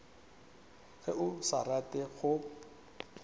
ge o sa rate go